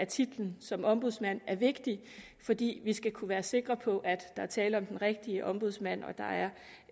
titlen som ombudsmand er vigtig fordi vi skal kunne være sikre på at der er tale om den rigtige ombudsmand og at